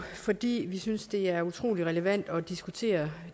fordi vi synes det er utrolig relevant at diskuteret